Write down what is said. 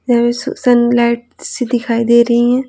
यहाँ सनलाइट सी दिखाई दे रही हैं।